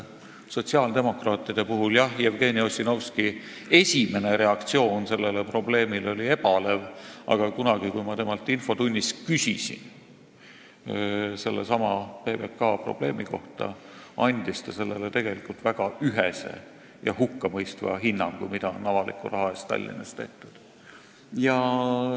Sotsiaaldemokraatide, täpsemalt Jevgeni Ossinovski esimene reaktsioon sellele probleemile oli ebalev, aga kunagi, kui ma temalt infotunnis küsisin sellesama PBK probleemi kohta, andis ta sellele, mida on avaliku raha eest Tallinnas tehtud, väga ühese ja hukkamõistva hinnangu.